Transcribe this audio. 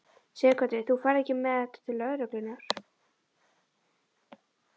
Sighvatur: Þú ferð ekki með þetta til lögreglunnar?